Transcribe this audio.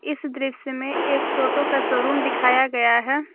इस दृश्य में एक टोटो का शोरूम दिखाया गया है।